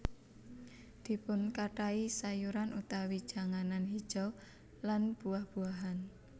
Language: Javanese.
Dipunkathahi sayuran utawi janganan hijau lan buah buahan